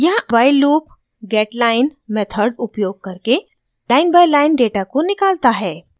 यहाँ while loop getline method उपयोग करके लाइन बाइ लाइन डेटा को निकालता है